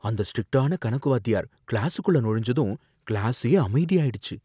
அந்த ஸ்ட்ரிக்டான கணக்கு வாத்தியார் கிளாசுக்குள்ள நுழைஞ்சதும் கிளாசே அமைதியாயிடுச்சு.